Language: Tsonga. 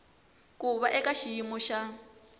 ku va eka xiyimo xa